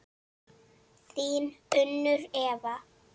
Þín Unnur Eva.